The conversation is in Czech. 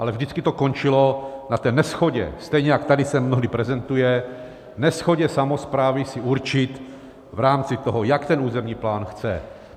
Ale vždycky to končilo na té neshodě, stejně jako tady se mnohdy prezentuje, neshodě samosprávy si určit v rámci toho, jak ten územní plán chce.